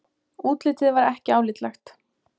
Útlitið var ekki álitlegt.